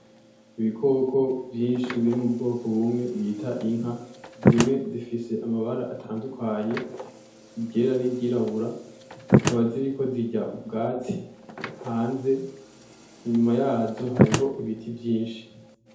Ibikoko vyinshi biri mu bwoko bumwe bita inka zimwe zifise amabara atandukanye, iryera n'iryirabura, zikaba ziriko zirya ubwatsi hanze, inyuma yazo hariho ibiti vyinshi.